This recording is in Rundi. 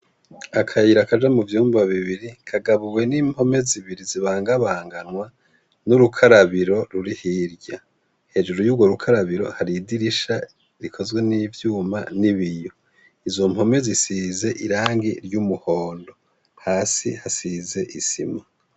Akayira kaja mu vyumba bibiri kagabuwe n'impome zibiri zibangabanganwa n'urukarabiro ruri hirya hejuru y'uwo rukarabiro hari idirisha rikozwe n'ivyuma n'ibiyo. Izo mpome zisize irangi ry'umuhondo hasi hasize isima.